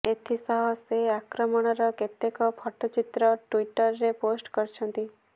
ଏଥିସହ ସେ ଆକ୍ରମଣର କେତେକ ଫଟୋଚିତ୍ର ଟୁଇଟରରେ ପୋଷ୍ଟ କରିଛନ୍ତି